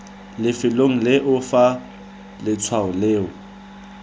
lefelong leo fa letshwao leo